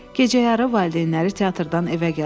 Gecəyarı valideynləri teatrdan evə gəldilər.